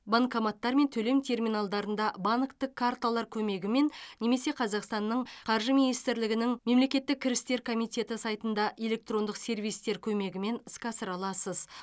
банкоматтар мен төлем терминалдарында банктік карталар көмегімен немесе қазақстанның қаржы министрлігінің мемлекеттік кірістер комитеті сайтында электрондық сервистер көмегімен іске асыра аласыз